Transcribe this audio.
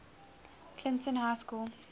clinton high school